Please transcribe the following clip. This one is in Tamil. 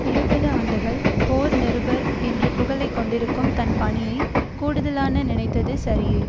இருபது ஆண்டுகள் போர் நிருபர் என்ற புகழை கொண்டிருக்கும் தன் பணியை கூடுதலான நினைத்தது சரியே